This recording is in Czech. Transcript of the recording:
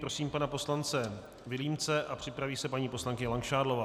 Prosím pana poslance Vilímce a připraví se paní poslankyně Langšádlová.